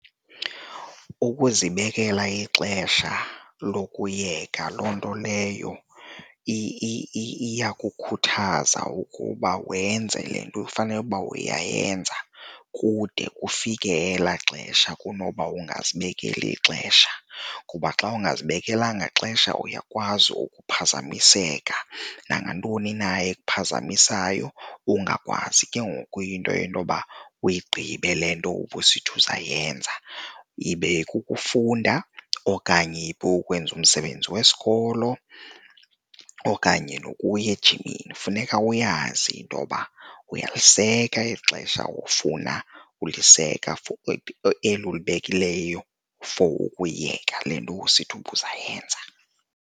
Ukuzibekela ixesha lokuyiyeka loo nto leyo iyakukhuthaza ukuba wenze le nto ufanele uba uyayenza kude ufike elaa xesha kunoba ungazibekeli ixesha. Kuba xa ungazibekelanga ixesha uyakwazi ukuphazamiseka nangantoni na ephazamisayo ungakwazi ke ngoku into intoba uyigqibe le nto ubusithi uzayenza, ibe kukufunda okanye ukwenza umsebenzi wesikolo okanye nokuya ejimini. Funeka uyazi intoba uyaliseka eli xesha ofuna uliseka for eli ulibekileyo for ukuyeka le nto ubusithi ubuzayenza.